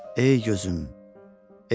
Ey gözüm, ey canım.